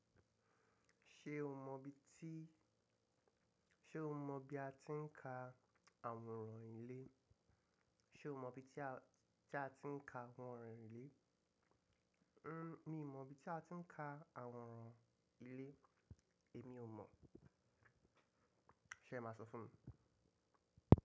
Ṣé o mọ bí ti, ṣe o mọ bí a ti ń ka àwòrán ilé? Ṣé o mọ ibi tí a, tí a ti ń ka àwòrán ilé? N mi ò mọ̀ bí a ti ń ka àwòrán ilé. Èmi ò mọ̀. Ṣé ẹ máa sọ fún mi?